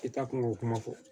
I taa kunko kuma fɔ